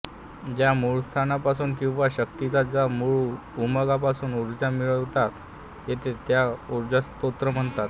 ज्या मूळस्थानापासून किंवा शक्तीच्या ज्या मूळ उगमापासून ऊर्जा मिळवता येते त्याला ऊर्जास्रोत म्हणतात